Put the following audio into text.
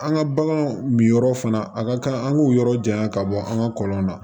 An ka bagan min yɔrɔ fana a ka kan an k'o yɔrɔ janya ka bɔ an ka kɔlɔn na